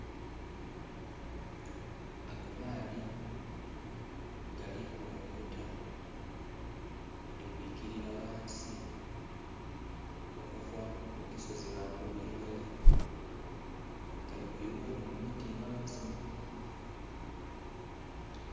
Ago maadhi gali kulunguta gali kwikirira ghansi okuva ku kisozi ghangulu ye gali. Gali kuyugha enho mu miti ghansi.